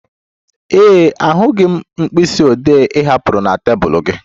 Ee e, ahụghị m mkpịsị ode ị hapụrụ na tebụl gị